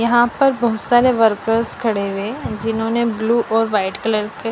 यहां पर बहुत सारे वर्कर्स खड़े हुए जिन्होंने ब्लू और वाइट कलर के--